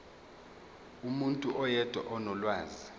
umuntu oyedwa onolwazi